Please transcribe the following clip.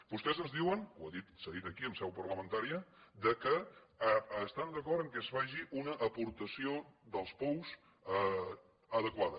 vostès ens diuen ho ha dit s’ha dit aquí en seu parlamentària que estan d’acord que es faci una aportació dels pous adequada